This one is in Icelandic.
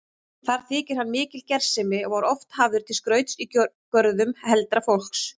Þar þykir hann mikil gersemi og var oft hafður til skrauts í görðum heldra fólks.